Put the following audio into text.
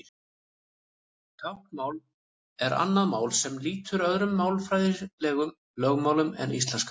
Táknmál er annað mál sem lýtur öðrum málfræðilegum lögmálum en íslenskan.